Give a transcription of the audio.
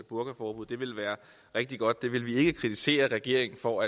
burkaforbud det ville være rigtig godt det ville vi ikke kritisere regeringen for